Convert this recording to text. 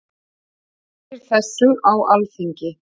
Fyrir þessu á Alþingi.